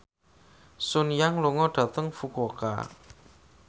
Sun Yang lunga dhateng Fukuoka